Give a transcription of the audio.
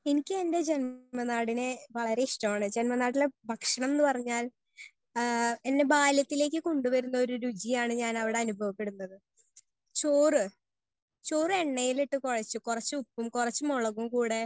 Speaker 1 എനിക്ക് എന്റെ ജന്മനാടിനെ വളരെ ഇഷ്ടാണ് ജന്മ നാടിനെഭക്ഷണം എന്ന് പറഞ്ഞാൽ എന്നെ ബാല്യത്തിലേക്ക് കൊണ്ട് വരുന്ന ഒര് രുചിയാണ് ഞാൻ അവിടെ അനുഭവ പെടുന്നത്. ചോർ ചോർ എണ്ണയിൽ ഇട്ട് കുഴച്ച് കുറിച്ചു ഉപ്പും കുറിച്ച് മുളകും കൂടെ